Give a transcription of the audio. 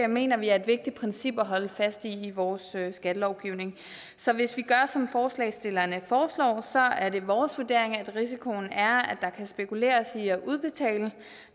mener vi er et vigtigt princip at holde fast i i vores skattelovgivning så hvis vi gør som forslagsstillerne foreslår så er det vores vurdering at risikoen er at der kan spekuleres i at udbetale